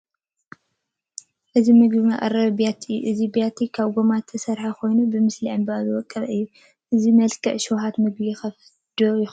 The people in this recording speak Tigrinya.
እዚ ምግቢ መቕረቢ ቢያቲ እዩ፡፡ እዚ ቢያቲ ካብ ጐማ ዝተሰርሐ ኮይኑ ብስእሊ ዕምበባ ዝወቀበ እዩ፡፡ እዚ መልክዕ ሽውሃት ምግቢ ይኸፍት ዶ ይኸውን?